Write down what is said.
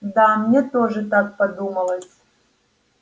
да мне тоже так подумалось